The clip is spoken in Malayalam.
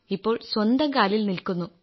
ഇപ്പോൾ സ്വന്തം കാലിൽ നിൽക്കുന്നു